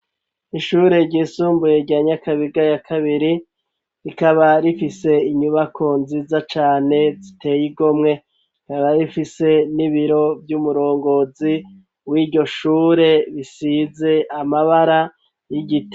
Ishure ryisumbuye rya nyakabiga ya kabiri rikaba rifise inyubako nziza cane ziteye igomwe rikaba rifise n'ibiro vy'umurongozi w'iryo shure bisize amabara y'igiti.